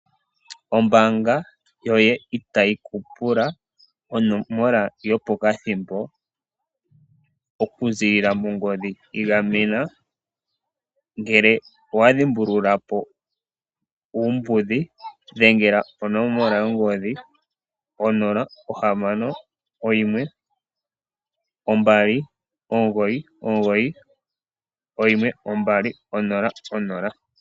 Ombaanga yoye itayi ku pula onomola yopokathimbo oku ziilila mongodhi. Igamena ngele owa dhimbulula po uumbudhi dhengela onomola yongodhi 0612991200.